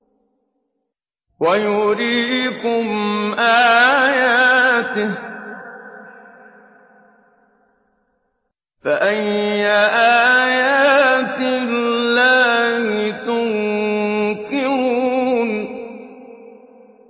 وَيُرِيكُمْ آيَاتِهِ فَأَيَّ آيَاتِ اللَّهِ تُنكِرُونَ